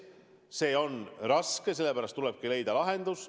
Olukord on raske, sellepärast tulebki leida lahendus.